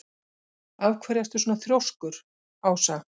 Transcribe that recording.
Af hverju ertu svona þrjóskur, Ása?